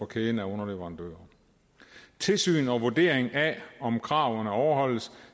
kæden af underleverandører tilsyn og vurdering af om kravene overholdes